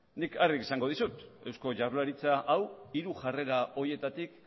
nik argi esango dizut eusko jaurlaritza hau hiru jarrera horietatik